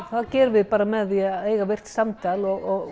það gerum við bara með því að eiga virkt samtal og